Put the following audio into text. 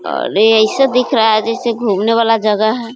और ये ऐसे दिख रहा है जैसे घूमने वाला जगह है।